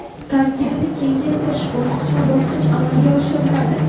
Tarkibni kengaytirish bosqichma-bosqich amalga oshiriladi.